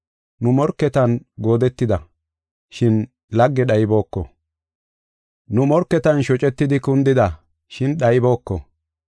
Nu, morketan goodetida, shin lagge dhaybooko. Nu morketan shocetidi kundida, shin dhaybooko.